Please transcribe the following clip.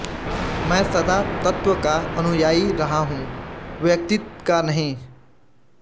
मैं सदा तत्त्व का अनुयायी रहा हूँ व्यक्तिका नहीं